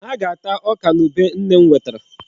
Ha ga-ata ọka na ube nne m wetara.